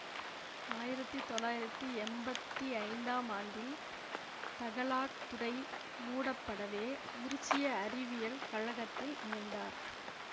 ஆயிரத்தி தொள்ளாயிரத்தி எம்பத்தி ஐந்தாம் ஆண்டில் தகலாக் துறை மூடப்படவே உருசிய அறிவியல் கழகத்தில் இணைந்தார்